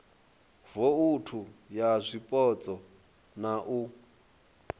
vouthu ya zwipotso na u